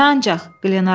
Nə ancaq?